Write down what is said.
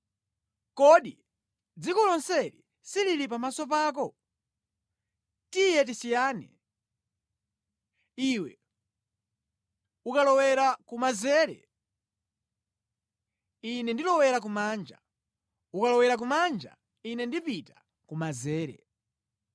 Kodi dziko lonseli silili pamaso pako? Tiye tisiyane. Iwe ukalowera kumanzere, ine ndilowera kumanja; ukalowera kumanja, ine ndipita kumanzere.”